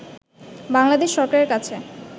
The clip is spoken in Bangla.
বাংলাদেশ সরকারের কাছে